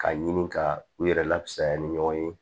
K'a ɲini ka u yɛrɛ lafuya ni ɲɔgɔn ye